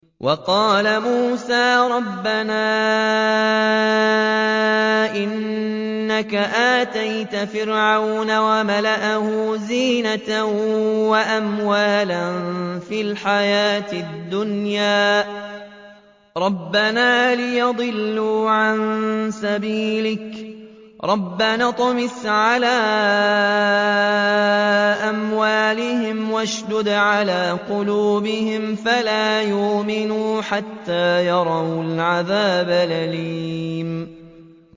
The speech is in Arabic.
وَقَالَ مُوسَىٰ رَبَّنَا إِنَّكَ آتَيْتَ فِرْعَوْنَ وَمَلَأَهُ زِينَةً وَأَمْوَالًا فِي الْحَيَاةِ الدُّنْيَا رَبَّنَا لِيُضِلُّوا عَن سَبِيلِكَ ۖ رَبَّنَا اطْمِسْ عَلَىٰ أَمْوَالِهِمْ وَاشْدُدْ عَلَىٰ قُلُوبِهِمْ فَلَا يُؤْمِنُوا حَتَّىٰ يَرَوُا الْعَذَابَ الْأَلِيمَ